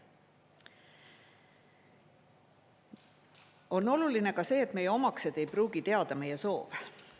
On oluline ka see, et meie omaksed ei pruugi teada meie soove.